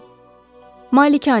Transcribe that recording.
Malikanə.